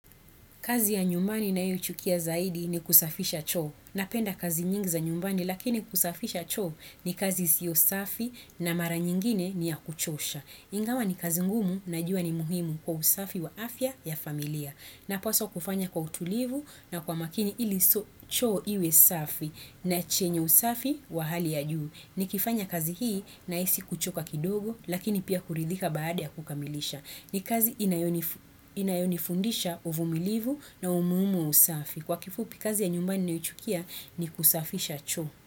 Kazi ya nyumbani ninayochukia zaidi ni kusafisha choo. Napenda kazi nyingi za nyumbani lakini kusafisha choo ni kazi isiyo safi na mara nyingine ni ya kuchosha. Ingawa ni kazi ngumu najua ni muhimu kwa usafi wa afya ya familia. Napaswa kufanya kwa utulivu na kwa makini ili so choo iwe safi na chenye usafi wa hali ya juu. Nikifanya kazi hii nahisi kuchoka kidogo lakini pia kuridhika baada ya kukamilisha. Ni kazi inayonifundisha uvumilivu na umuhimu wa usafi. Kwa kifupi kazi ya nyumbani ninayoichukia ni kusafisha cho.